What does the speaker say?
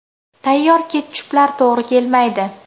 Tayyor ketchuplar to‘g‘ri kelmaydi.